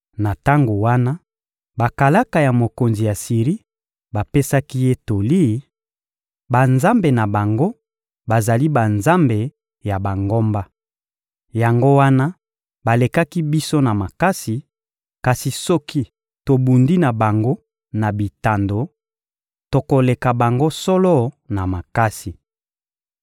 Na tango wana bakalaka ya mokonzi ya Siri bapesaki ye toli: «Banzambe na bango bazali banzambe ya bangomba. Yango wana balekaki biso na makasi, kasi soki tobundi na bango na bitando, tokoleka bango solo na makasi.